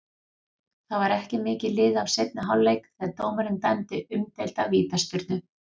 Það var ekki mikið liðið af seinni hálfleik þegar dómarinn dæmdi umdeilda vítaspyrnu.